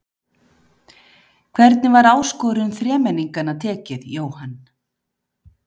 Hvernig var áskorun þremenningana tekið, Jóhann?